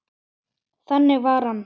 Þannig var hann.